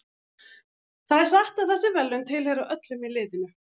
Það er satt að þessi verðlaun tilheyra öllum í liðinu.